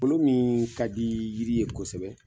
Kolon min ka di yiri ye kosɛbɛ.